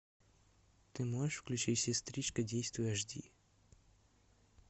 ты можешь включить сестричка действуй аш ди